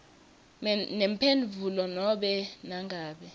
nemphendvulo nobe nangabe